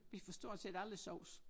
Vi får stort set aldrig sovs